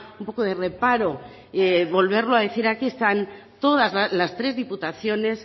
un poco de reparo volverlo a decir aquí están todas las tres diputaciones